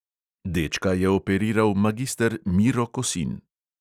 Dečka je operiral magister miro kosin.